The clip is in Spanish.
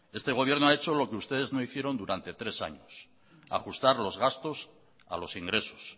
este gobierno ha hecho lo que ustedes no hicieron durante tres años ajustar los gastos a los ingresos